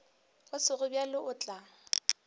go sego bjalo o tla